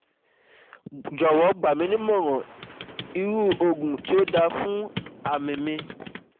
Jowo gbaminimoran iru oogun ti o dara fun ami mi